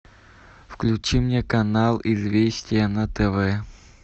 включи мне канал известия на тв